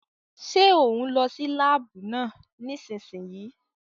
Ṣé òún lọ sí láàbù náà nísìsiyìí?